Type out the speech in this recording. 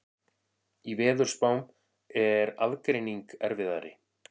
Í veðurspám er aðgreining erfiðari.